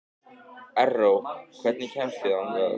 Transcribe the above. Erró, hvernig kemst ég þangað?